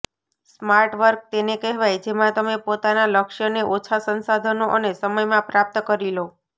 smart work તેને કહેવાય જેમાં તમે પોતાના લક્ષ્યને ઓછા સંસાધનો અને સમયમાં પ્રાપ્ત કરી લો